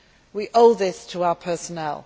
We owe this to our personnel.